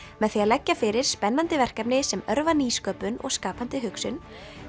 með því að leggja fyrir spennandi verkefni sem örva nýsköpun og skapandi hugsun